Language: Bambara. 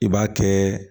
I b'a kɛ